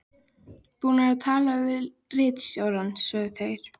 Búnir að tala við ritstjórann, sögðu þeir.